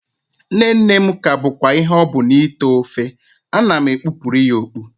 Nne nne m ka bụkwa ihe ọ bụ n'ite ofe, ana m ekpupụrụ ya okpu